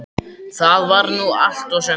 Það var nú allt og sumt.